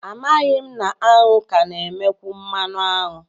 Amaghị m na aṅụ ka na-emekwu mmanụ aṅụ